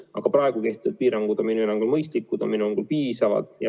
Aga praegu kehtivad piirangud on minu hinnangul mõistlikud, need on minu hinnangul piisavad.